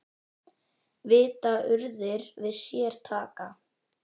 Vita urðir við sér taka.